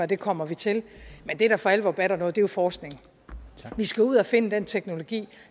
det kommer vi til men det der for alvor batter noget er forskning vi skal ud at finde den teknologi